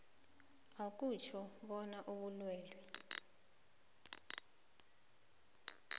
akutjho bona ubulwelwe